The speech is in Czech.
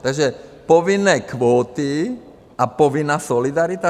Takže povinné kvóty a povinná solidarita?